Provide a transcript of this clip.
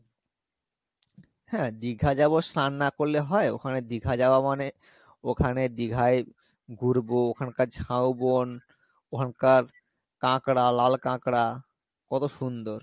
হ্যাঁ দীঘা যাবো স্নান না করলে হয়, ওখানে দীঘা যাওয়া মানে ওখানে দীঘায় ঘুরবো ওখানকার ঝাউবন, ওখানকার কাকড়া লাল কাকড়া, কত সুন্দর